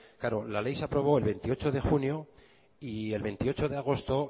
claro la ley se aprobó el veintiocho de junio y el veintiocho de agosto